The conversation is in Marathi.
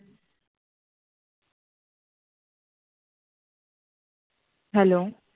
Hello